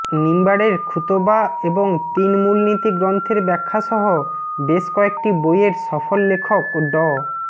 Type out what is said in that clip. মিম্বারের খুতবা এবং তিন মূলনীতি গ্রন্থের ব্যাখ্যাসহ বেশ কয়েকটি বইয়ের সফল লেখক ড